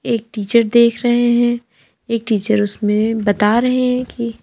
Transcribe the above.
एक टीचर देख रहे हैं एक टीचर उसमें बता रहे हैं कि--